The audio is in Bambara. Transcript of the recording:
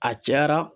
A cayara